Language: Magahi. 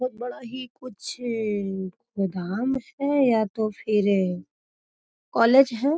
बहुत बड़ा ही कुछ गोदाम है या तो फिर कॉलेज है।